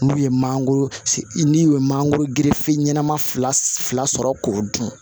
N'u ye mangoro n'i ye mangoro girifini ma fila sɔrɔ k'o dun